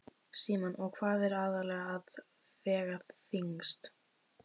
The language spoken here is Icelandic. Símon: Og hvað er aðallega að vega þyngst?